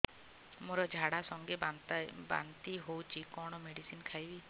ମୋର ଝାଡା ସଂଗେ ବାନ୍ତି ହଉଚି କଣ ମେଡିସିନ ଖାଇବି